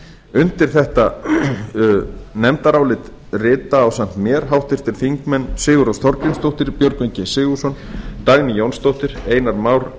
undir þetta nefndarálit rita ásamt mér háttvirtir þingmenn sigurrós þorgrímsdóttir björgvin g sigurðsson dagný jónsdóttir einar már